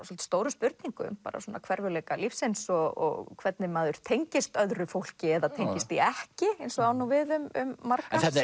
svolítið stórum spurningum svona hverfulleika lífsins og hvernig maður tengist öðru fólki eða tengist því ekki eins og á nú við um marga þetta